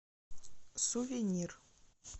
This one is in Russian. сувенир